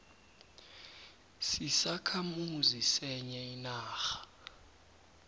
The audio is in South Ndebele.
sisakhamuzi senye inarha